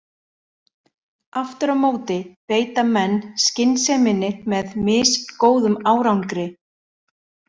Aftur á móti beita menn skynseminni með misgóðum árangri.